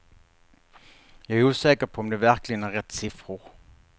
Jag är osäker på om det verkligen är rätt siffror.